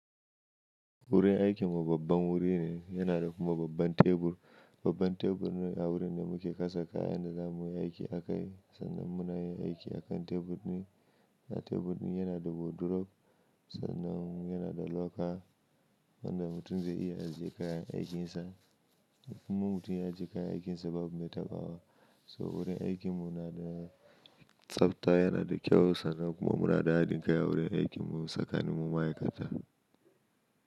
Wurin aikin mu babban wuri ne, yana da kuma babban tebur. Babban tebur ne a wurin da muke kasa kayan da zamuyi aiki a kai. Sannan muna yin aiki a kan tebur ɗin, tebur ɗin yana da wardrobe. Sannan yana da loka wanda mutum zai iya ajiye kayan aikin sa. Kuma mutum ya ajiye kayan aikin sa babu mai taɓawa. So wurin aikin mu nada tsafta, yana da kyau sannan kuma muna da haɗin kai a wurin aikin mu tsakanin mu ma'aikata.